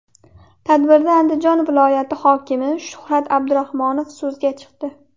Tadbirda Andijon viloyati hokimi Shuhrat Abdurahmonov so‘zga chiqdi.